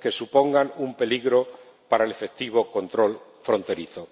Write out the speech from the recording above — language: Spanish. que supongan un peligro para el efectivo control fronterizo.